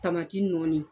Tamati nɔɔni